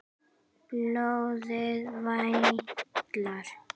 Blóðið vætlar.